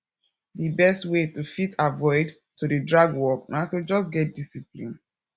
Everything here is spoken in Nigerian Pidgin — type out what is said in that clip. di best wey to fit avoid to dey drag work na to just get discipline